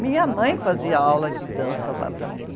Minha mãe fazia aula de dança lá também.